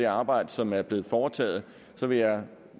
arbejde som er blevet foretaget vil jeg